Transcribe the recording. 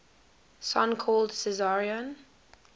son called caesarion